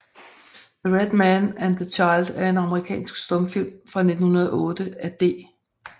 The Red Man and the Child er en amerikansk stumfilm fra 1908 af D